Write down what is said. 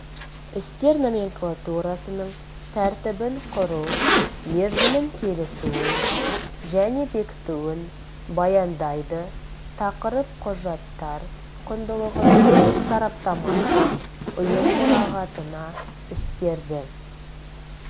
істер номенклатурасының тәртібін құру мерзімін келісуін және бекітуін баяндайды тақырып құжаттар құндылығының сараптамасы ұйым мұрағатына істерді